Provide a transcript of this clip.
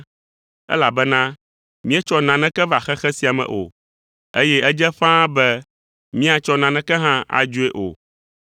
elabena míetsɔ naneke va xexe sia me o, eye edze ƒãa be míatsɔ naneke hã adzoe o.